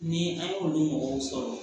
Ni an y'olu mɔgɔw sɔrɔ